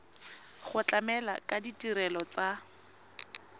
go tlamela ka ditirelo tsa